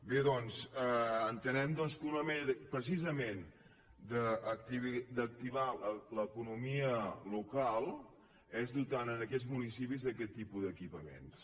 bé doncs entenem que una manera precisament d’activar l’economia local és dotant aquests municipis d’aquest tipus d’equipaments